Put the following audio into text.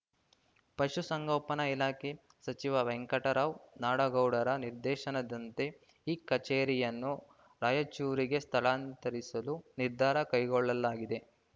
ಪಶು ಸಂಗೋಪನ ಇಲಾಖೆ ಸಚಿವ ವೆಂಕಟರಾವ್‌ ನಾಡಗೌಡರ ನಿರ್ದೇಶನದಂತೆ ಈ ಕಚೇರಿಯನ್ನು ರಾಯಚೂರಿಗೆ ಸ್ಥಳಾಂತರಿಸಲು ನಿರ್ಧಾರ ಕೈಗೊಳ್ಳಲಾಗಿದೆ